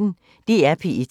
DR P1